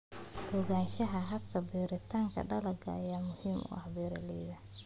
Ogaanshaha hababka beeritaanka dalagyada ayaa muhiim u ah beeralayda.